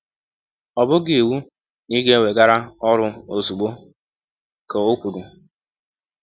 “ Ọ bụghị iwụ na ị ga - eweghara ọrụ ọzụgbọ, ” ka ọ kwụrụ.